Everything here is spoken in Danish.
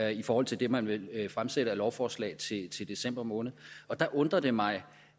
i forhold til det man vil fremsætte af lovforslag i december måned der undrer det mig